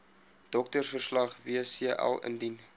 doktersverslag wcl indien